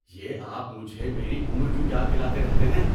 یہ آپ مجھے میری عمر کیوں یاد دلاتے رہتے ہیں؟